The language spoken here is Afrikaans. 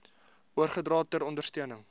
oorgedra ter ondersteuning